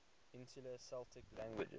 insular celtic languages